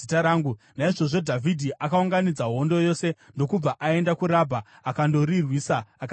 Naizvozvo Dhavhidhi akaunganidza hondo yose ndokubva aenda kuRabha, akandorirwisa akaritora.